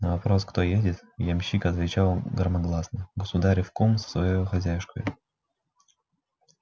на вопрос кто едет ямщик отвечал громогласно государев кум со своею хозяюшкою